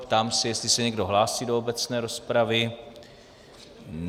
Ptám se, jestli se někdo hlásí do obecné rozpravy.